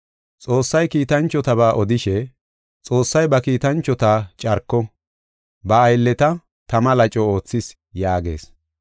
Xoossay kiitanchotaba odishe, “Xoossay ba Kiitanchota carko, ba aylleta tama laco oothees” yaagees.